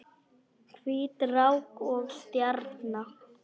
Hvít rák og stjarna